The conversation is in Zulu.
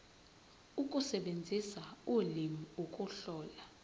ukusebenzisa ulimi ukuhlola